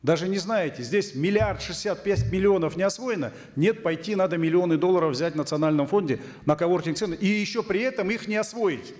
даже не знаете здесь миллиард шестьдесят пять миллионов не освоено нет пойти надо миллионы долларов взять в национальном фонде на коворкинг центры и еще при этом их не освоить